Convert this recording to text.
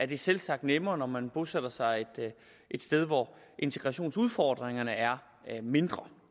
det selvsagt nemmere når man bosætter sig et sted hvor integrationsudfordringerne er mindre